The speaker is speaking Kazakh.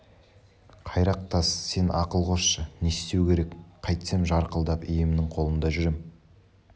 қайрақ тас сен ақыл қосшы не істеу керек қайтсем жарқылдап иемнің қолында жүрем